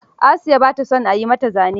Asiya ba ta son a yi mata zane.